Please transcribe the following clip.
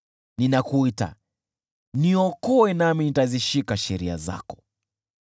Ninakuita; niokoe nami nitazishika sheria zako.